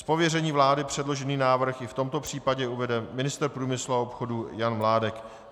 Z pověření vlády předložený návrh i v tomto případě uvede ministr průmyslu a obchodu Jan Mládek.